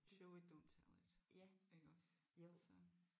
Show it don't tell it iggås så